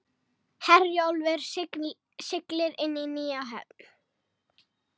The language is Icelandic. Herjólfur siglir inn í nýja höfn